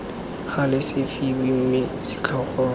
gale se fiwe mme setlhogo